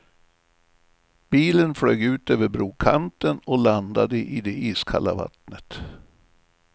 Bilen flög ut över brokanten och landade i det iskalla vattnet.